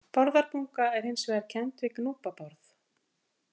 Bárðarbunga er hins vegar kennd við Gnúpa-Bárð.